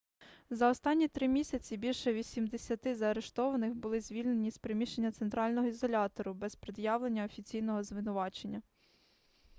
за останні 3 місяці більше 80 заарештованих були звільнені з приміщення центрального ізолятору без пред'явлення офіційного звинувачення